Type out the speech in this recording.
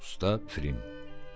Usta Frim.